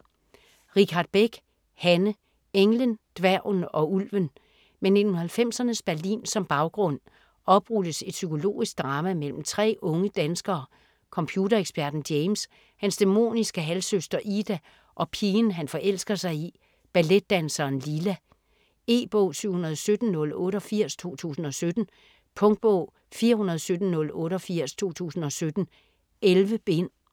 Richardt Beck, Hanne: Englen, dværgen og ulven Med 1990'ernes Berlin som baggrund oprulles et psykologisk drama mellem tre unge danskere: computereksperten James, hans dæmoniske halvsøster Ida og pigen han forelsker sig i, balletdanseren Lila. E-bog 717088 2017. Punktbog 417088 2017. 11 bind.